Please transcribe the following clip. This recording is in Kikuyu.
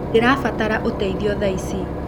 Ndĩrabatara ũteĩthĩo thaa ĩcĩ